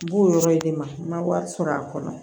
N b'o yɔrɔ in de ma n ma wari sɔrɔ a kɔnɔ